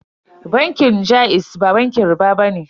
Bankin jaiz ba bankin riɓa bane.